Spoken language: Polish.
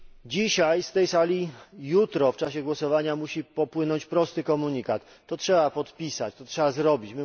Dzisiaj z tej sali i jutro w czasie głosowania musi popłynąć prosty komunikat, że to trzeba podpisać, że to trzeba zrobić.